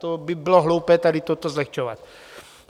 To by bylo hloupé, tady toto zlehčovat.